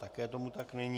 Také tomu tak není.